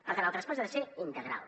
per tant el traspàs ha de ser integral